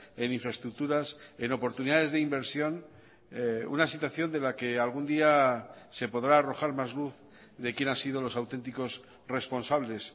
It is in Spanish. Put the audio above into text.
en infraestructuras en oportunidades de inversión una situación de la que algún día se podrá arrojar más luz de quién ha sido los auténticos responsables